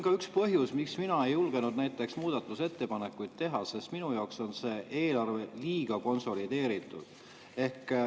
Aga üks põhjus, miks mina ei julgenud muudatusettepanekuid teha, on see, et minu jaoks on see eelarve liiga konsolideeritud.